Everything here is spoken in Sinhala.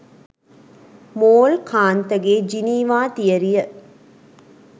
මෝල් කාන්තගේ ජිනීවා තියරිය.